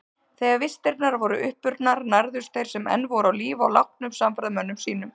Þegar vistirnar voru uppurnar nærðust þeir sem enn voru á lífi á látnum samferðamönnum sínum.